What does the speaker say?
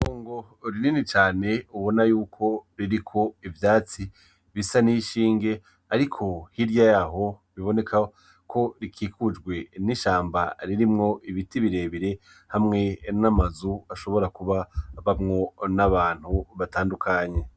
Itongo rinini cane ubona yuko ririko ivyatsi bisa nishinge ariko hirya yaho biboneka ko rikikujwe nishamba ririmwo ibiti birebire hamwe namazu ashobora kuba abamwo nabantu batandukanye.